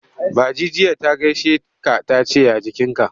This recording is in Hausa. Ba ji jiya ta gaishe ka ta ce ya jikinka.